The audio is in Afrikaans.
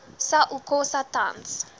sa okosa tans